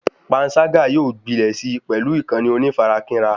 Pańṣágà yóò gbilẹ̀ sí pẹlú ìkànnì onífarakínra